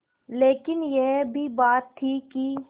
लेकिन यह भी बात थी कि